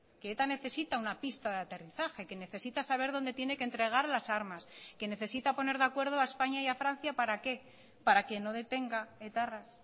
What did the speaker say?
que eta necesita una pista de aterrizaje que necesita saber dónde tiene que entregar las armas que necesita poner de acuerdo a españa y a francia para qué para que no detenga etarras